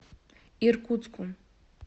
иркутску